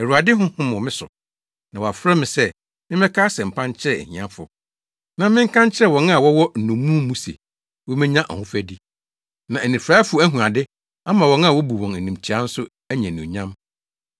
“Awurade Honhom wɔ me so, na wɔafrɛ me sɛ memmɛka asɛmpa nkyerɛ ahiafo. Na menka nkyerɛ wɔn a wɔwɔ nnommum mu se, wobenya ahofadi, na anifuraefo ahu ade ama wɔn a wobu wɔn animtiaa nso anya anuonyam.